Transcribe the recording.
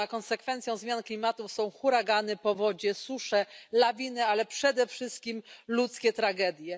Konsekwencją zmian klimatu są huragany, powodzie, susze, lawiny, ale przede wszystkim ludzkie tragedie.